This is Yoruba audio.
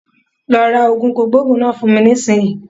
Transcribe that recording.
Lọ ra oògùn kòkòrò náà fún mi nísìnyi